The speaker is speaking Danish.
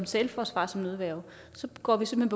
selvforsvar og som nødværge går vi simpelt